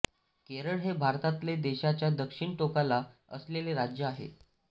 केरळ हे भारतातले देशाच्या दक्षिण टोकाला असलेले राज्य आहे